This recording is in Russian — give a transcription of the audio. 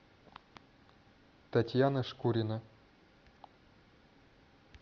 татьяна шкурина